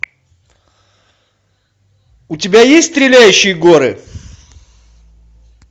у тебя есть стреляющие горы